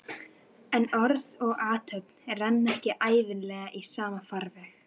En orð og athöfn renna ekki ævinlega í sama farveg.